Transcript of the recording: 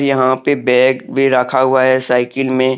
यहां पे बैग भी रखा हुआ है साइकिल में।